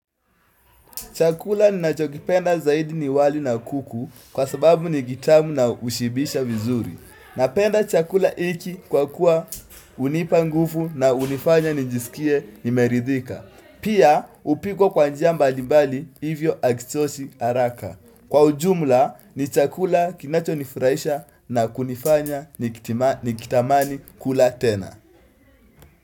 Chakula ninachokipenda zaidi ni wali na kuku kwa sababu ni kitamu na hushibisha vizuri. Napenda chakula hiki kwa kuwa hunipa nguvu na hunifanya njisikie nimeridhika. Pia hupikwa kwa njia mbalimbali hivyo hakichoshi araka. Kwa ujumla ni chakula kinachonifraisha na kunifanya nikitamani kula tena.